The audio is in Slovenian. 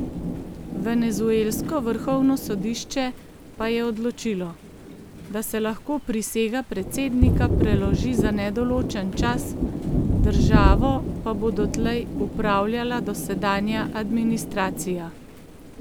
Venezuelsko vrhovno sodišče pa je odločilo, da se lahko prisega predsednika preloži za nedoločen čas, državo pa bo dotlej upravljala dosedanja administracija.